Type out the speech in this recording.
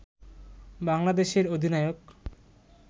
বাংলাদেশের অধিনায়ক